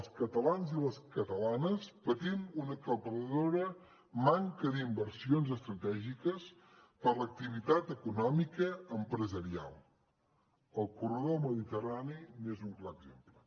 els catalans i les catalanes patim una aclaparadora manca d’inversions estratègiques per a l’activitat econòmica empresarial el corredor mediterrani n’és un clar exemple